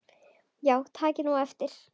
Já takið nú eftir.